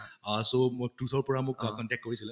অহ so অৰ পৰা মোক contact কৰিছিল